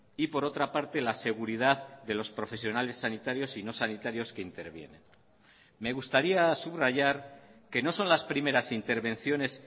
y por otra parte la seguridad de los profesionales sanitarios y no sanitarios que intervienen me gustaría subrayar que no son las primeras intervenciones